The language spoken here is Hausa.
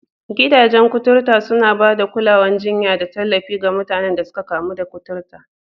Gidajen kuturta suna ba da kulawar jinya da tallafi ga mutanen da suka kamu da kuturta